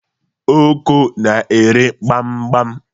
Oko na-ere gbam gbam